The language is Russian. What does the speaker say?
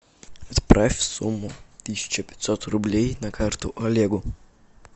отправь сумму тысяча пятьсот рублей на карту олегу